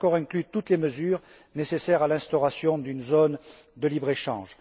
Cet accord inclut toutes les mesures nécessaires à l'instauration d'une zone de libre échange.